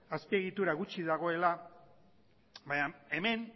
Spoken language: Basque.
azpiegitura gutxi dagoela baina hemen